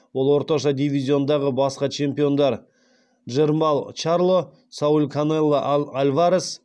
ол орташа дивизиондағы басқа чемпиондар джермалл чарло сауль канело альварес